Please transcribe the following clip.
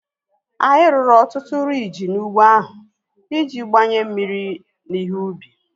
Anyị rụrụ ọtụtụ riiji n'ụgbọ ahu iji gbanye mmiri na ihe ubi